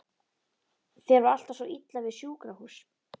Þér var alltaf svo illa við sjúkrahús.